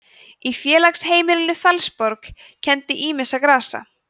í félagsheimilinu fellsborg kenndi ýmissa grasa